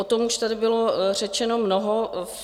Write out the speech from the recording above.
O tom už tady bylo řečeno mnoho.